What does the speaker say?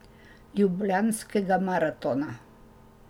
Ljubljanskega maratona.